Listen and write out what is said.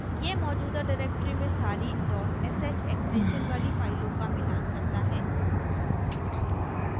यह मौजूदा directory में सारी sh extension वाली फाइलों का मिलान करता है